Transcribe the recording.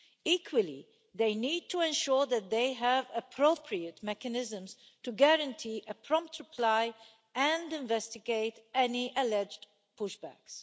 Equally, they need to ensure that they have appropriate mechanisms to guarantee a prompt reply and investigate any alleged pushbacks.